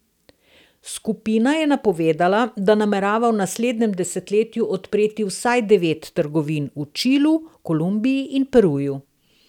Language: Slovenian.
Skupina je napovedala, da namerava v naslednjem desetletju odpreti vsaj devet trgovin v Čilu, Kolumbiji in Peruju.